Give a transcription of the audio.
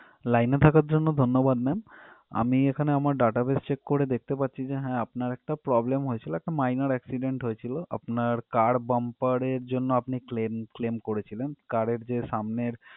Line এ থাকার জন্য ধন্যবাদ ma'am আমি এখানে আমার database check করে দেখতে পাচ্ছি যে হ্যাঁ আপনার একটা problem হয়েছিল একটা minor accident হয়েছিল আপনার car bumper এর জন্য আপনি claim claim করেছিলেন car এর যে সামনের